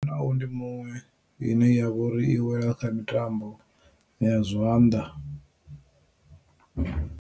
Nayo ndi muṅwe ine yavha uri i wela kha mitambo ya zwanḓa.